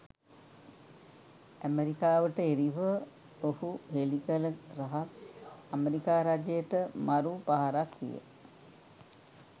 ඇමරිකාවට එරෙහිව ඔහු හෙලිකල රහස් ඇමරිකා රජයට මරු පහරක් විය.